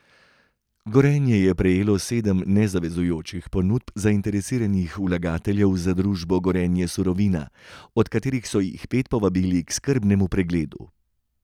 Gorenje je prejelo sedem nezavezujočih ponudb zainteresiranih vlagateljev za družbo Gorenje Surovina, od katerih so jih pet povabili k skrbnemu pregledu.